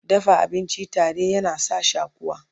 dafa abinci tare yana sa shakuwa